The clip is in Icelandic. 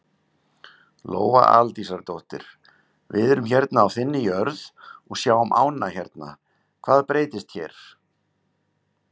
Lóa Aldísardóttir: Við erum hérna á þinni jörð og sjáum ánna hérna, hvað breytist hér?